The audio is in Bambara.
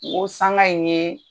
Nko sanga ɲe